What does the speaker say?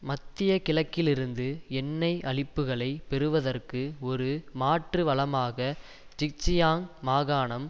மத்திய கிழக்கிலிருந்து எண்ணெய் அளிப்புகளை பெறுவதற்கு ஒரு மாற்று வளமாக ஜின்ஜியாங் மாகாணம்